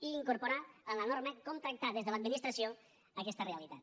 i incorporar en la norma com tractar des de l’administració aquesta realitat